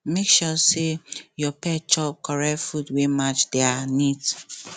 make sure say your pet chop correct food wey match their need